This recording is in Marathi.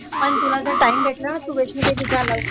आणि जर तुला time भेटला ना तर वैष्णवदेवी जा तू